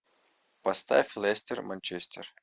поставь лестер манчестер